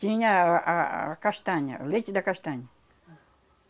Tinha a a a castanha, o leite da castanha. Ah...